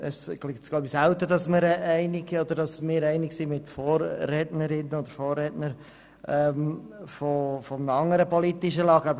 Es ist selten, dass wir mit Vorred nerinnen und Vorredner anderer politischer Lager einig sind.